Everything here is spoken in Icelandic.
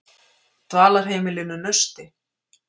Dvalarheimilinu Nausti